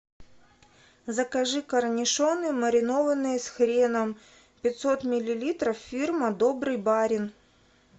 закажи корнишоны маринованные с хреном пятьсот миллилитров фирма добрый барин